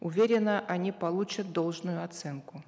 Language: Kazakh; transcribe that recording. уверена они получат должную оценку